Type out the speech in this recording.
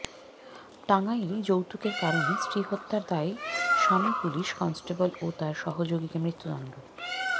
টাঙ্গাইলে যৌতুকের কারণে স্ত্রী হত্যার দায়ে স্বামী পুলিশ কনস্টেবল ও তার সহযোগীকে মৃত্যুদণ্ড